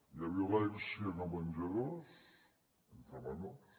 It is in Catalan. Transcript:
hi ha violència en els menjadors entre menors